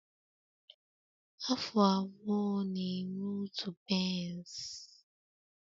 Afụ abụọ na-eme otu pence